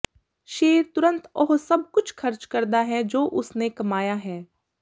ਸ਼ੇਰ ਤੁਰੰਤ ਉਹ ਸਭ ਕੁਝ ਖਰਚ ਕਰਦਾ ਹੈ ਜੋ ਉਸਨੇ ਕਮਾਇਆ ਹੈ